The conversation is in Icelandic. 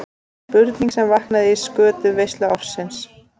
Spurning sem vaknaði í skötuveislu ársins.